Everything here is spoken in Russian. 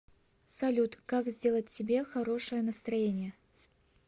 салют как сделать себе хорошее настроение